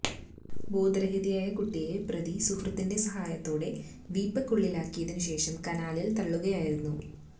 ബോധരഹിതയായ കുട്ടിയെ പ്രതി സുഹൃത്തിന്റെ സഹായത്തോടെ വീപ്പയ്ക്കുള്ളിലാക്കിയതിനു ശേഷം കനാലില് തള്ളുകയായിരുന്നു